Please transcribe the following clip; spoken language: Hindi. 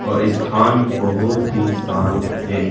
और ये स्थान बहोत ही शांत है।